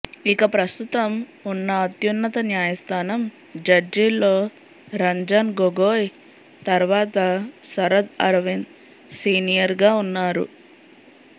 ఇక ప్రస్తుతం ఉన్న అత్యున్నత న్యాయస్థానం జడ్జీల్లో రంజన్ గొగోయ్ తర్వాత శరద్ అరవింద్ సీనియర్గా ఉన్నారు